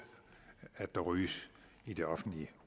at der ryges i det offentlige